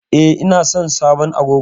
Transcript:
E, ina son sabon agogon.